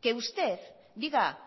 que usted diga